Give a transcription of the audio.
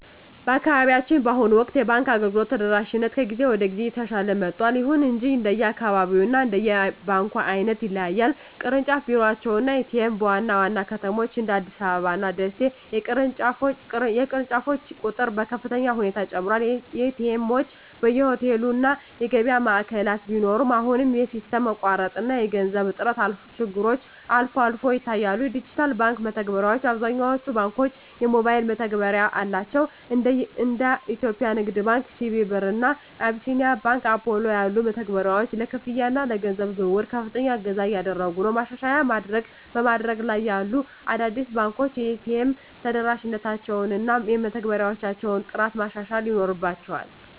በአካባቢያችን በአሁኑ ወቅት የባንክ አገልግሎት ተደራሽነት ከጊዜ ወደ ጊዜ እየተሻሻለ መጥቷል። ይሁን እንጂ እንደየአካባቢው እና እንደ ባንኩ ዓይነት ይለያያል። ቅርንጫፍ ቢሮዎች እና ኤ.ቲ.ኤም (ATM): በዋና ዋና ከተሞች (እንደ አዲስ አበባ እና ደሴ) የቅርንጫፎች ቁጥር በከፍተኛ ሁኔታ ጨምሯል። ኤ.ቲ. ኤምዎች በየሆቴሉ እና የገበያ ማዕከላት ቢኖሩም፣ አሁንም የሲስተም መቋረጥ እና የገንዘብ እጥረት ችግሮች አልፎ አልፎ ይታያሉ። ዲጂታል የባንክ መተግበሪያዎች: አብዛኞቹ ባንኮች የሞባይል መተግበሪያ አላቸው። እንደ የኢትዮጵያ ንግድ ባንክ (CBE Birr) እና አቢሲኒያ ባንክ (Apollo) ያሉ መተግበሪያዎች ለክፍያ እና ለገንዘብ ዝውውር ከፍተኛ እገዛ እያደረጉ ነው። ማሻሻያ በማደግ ላይ ያሉ አዳዲስ ባንኮች የኤ.ቲ.ኤም ተደራሽነታቸውን እና የመተግበሪያዎቻቸውን ጥራት ማሻሻል ይኖርባ